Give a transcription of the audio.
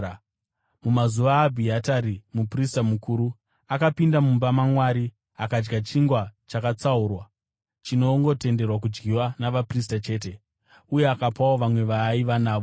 Mumazuva aAbhiatari muprista mukuru, akapinda mumba maMwari akadya chingwa chakatsaurwa, chinongotenderwa kudyiwa navaprista chete. Uye akapawo vamwe vaaiva navo.”